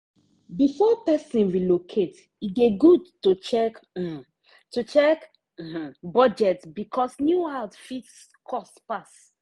before person relocate e dey good to check um to check um budget because new house fit cost pass.